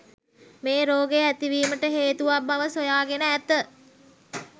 මේ රෝගය ඇතිවීමට හේතුවක් බව සොයාගෙන ඇත.